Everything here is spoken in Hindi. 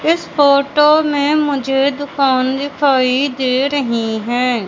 इस फोटो में मुझे दुकान दिखाई दे रही हैं।